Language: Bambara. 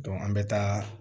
an bɛ taa